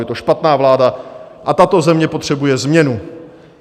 Je to špatná vláda a tato země potřebuje změnu.